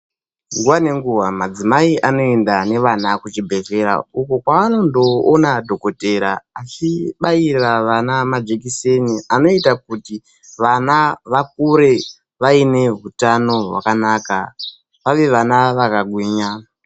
Nguva nenguva madzimai anoenda nevana kuchibhedhleya uko kwavanondoona dhokotera achibaira vana majekiseni, anoita kuti vana vakure vaine hutano hwakanaka vave vana vakagwinya.